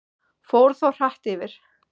Fór þó hratt yfir.